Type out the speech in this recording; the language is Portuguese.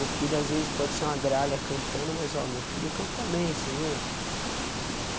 O filho às vezes pode ser uma grália cantando, mas ó, meu filho canta bem, você viu?